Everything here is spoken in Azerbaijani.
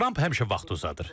Tramp həmişə vaxtı uzadır.